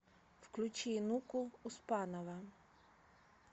включи нуку успанова